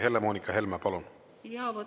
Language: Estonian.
Helle-Moonika Helme, palun!